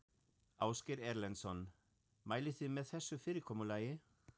Ásgeir Erlendsson: Mælið þið með þessu fyrirkomulagi?